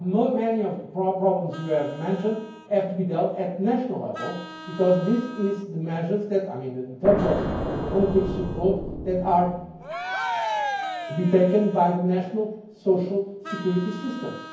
Many of the problems you have mentioned have to be dealt with at national level because these are the measures in terms of concrete support that are to be taken by the national social security systems.